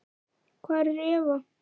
Hvar er Eva?